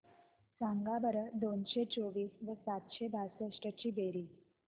सांगा बरं दोनशे चोवीस व सातशे बासष्ट ची बेरीज